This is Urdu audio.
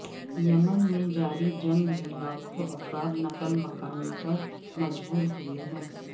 یمن میں جاری جنگ میں لاکھوں افراد نقل مکانی پر مجبور ہوئے ہیں